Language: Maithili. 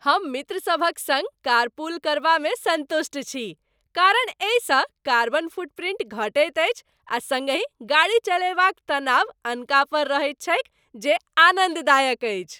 हम मित्र सभक संग कारपूल करबामे सन्तुष्ट छी, कारण एहिसँ कार्बन फुटप्रिंट घटैत अछि आ सङ्गहि गाड़ी चलयबाक तनाव अनका पर रहैत छैक जे आनन्ददायक अछि।